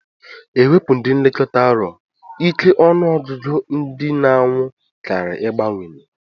Ewepu ndi nlekọta arụ ike ọnụ ọgụgụ ndi na anwụ kari igbawanye.